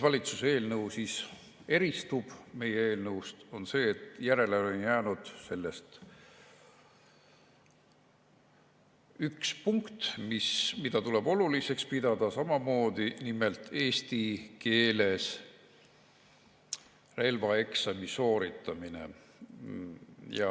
Valitsuse eelnõu eristub meie eelnõust selle poolest, et järele on jäänud sellest üks punkt, mida tuleb samamoodi oluliseks pidada, nimelt eesti keeles relvaeksami sooritamine.